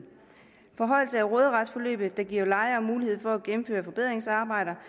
forhøjelse af råderetsbeløbet giver lejere mulighed for at gennemføre forbedringsarbejder